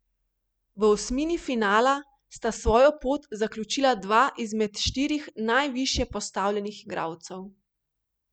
V osmini finala sta svojo pot zaključila dva izmed štirih najvišje postavljenih igralcev.